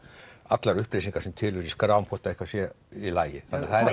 allar upplýsingar sem til eru í skrám hvort eitthvað sé í lagi það er